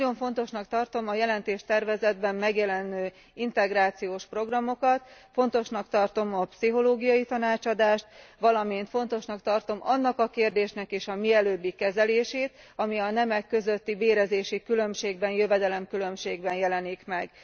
Nagyon fontosnak tartom a jelentéstervezetben megjelenő integrációs programokat, fontosnak tartom a pszichológiai tanácsadást, valamint fontosnak tartom annak a kérdésnek is a mielőbbi kezelését, ami a nemek közötti bérezési különbségben, jövedelemkülönbségben jelenik meg.